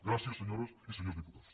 gràcies senyores i senyors diputats